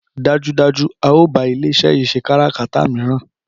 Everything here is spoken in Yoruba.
Dájúdájú a o bá ilé iṣé yín ṣẹ káràkátà míràn